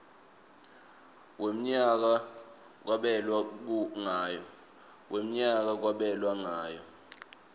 wemnyaka kwabelwa ngayo